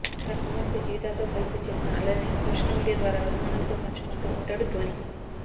తన కుమార్తె జీవాతో కలిసి చేసిన అల్లరిని సోషల్ మీడియా ద్వారా అభిమానులతో పంచుకుంటూ ఉంటాడు ధోని